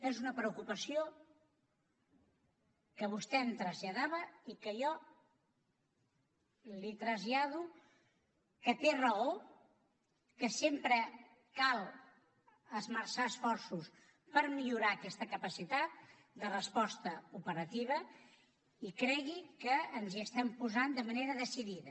és una preocupació que vostè em traslladava i que jo li trasllado que té raó que sempre cal esmerçar esforços per millorar aquesta capacitat de resposta operativa i cregui que ens hi estem posant de manera decidida